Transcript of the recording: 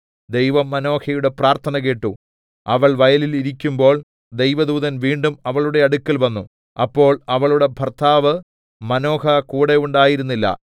ദൈവം മാനോഹയുടെ പ്രാർത്ഥന കേട്ടു അവൾ വയലിൽ ഇരിക്കുമ്പോൾ ദൈവദൂതൻ വീണ്ടും അവളുടെ അടുക്കൽ വന്നു അപ്പോൾ അവളുടെ ഭർത്താവ് മാനോഹ കൂടെ ഉണ്ടായിരുന്നില്ല